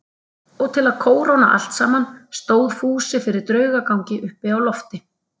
Og til að kóróna allt saman stóð Fúsi fyrir draugagangi uppi á lofti.